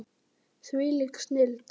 Þvílík snilld!